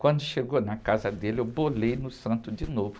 Quando chegou na casa dele, eu bolei no santo de novo.